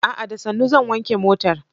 A'a! Da sannu zan wanke motar.